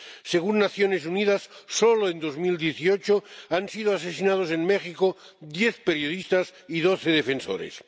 Según las Naciones Unidas, solo en 2018 han sido asesinados en México diez periodistas y doce defensores.